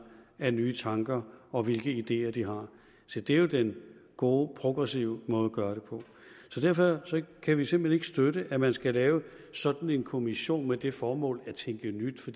af nye tanker og hvilke ideer de har se det er jo den gode progressive måde at gøre det på så derfor kan vi simpelt hen ikke støtte at man skal lave sådan en kommission med det formål at tænke nyt for